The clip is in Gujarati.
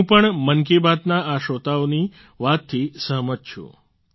હું પણ મન કી બાતના આ શ્રોતાઓની વાતથી સહમત છું